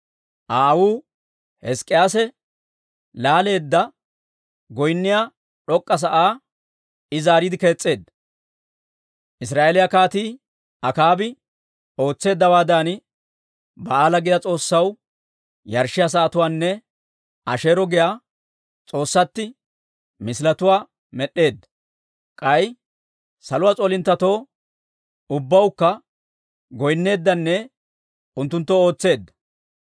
Aa aawuu Hizk'k'iyaase laaleedda, goynniyaa d'ok'k'a sa'aa I zaaretsiide kees's'eedda; Israa'eeliyaa Kaatii Akaabi ootseeddawaadan, Ba'aala giyaa s'oossaw yarshshiyaa sa'atuwaanne Asheero giyaa s'oossatti misiletuwaa med'd'eedda. K'ay saluwaa s'oolinttetoo ubbawukka goynneeddanne unttunttoo ootseedda.